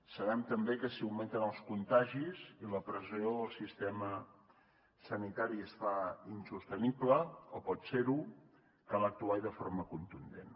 sabem també que si augmenten els contagis i la pressió al sistema sanitari es fa insostenible o pot ser ho cal actuar i de forma contundent